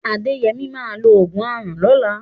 Adéyẹmí máa lo ògùn aràn lọ́la.